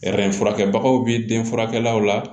furakɛbagaw bɛ den furakɛlaw la